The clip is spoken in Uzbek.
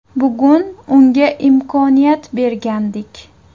Bugun unga imkoniyat bergandik.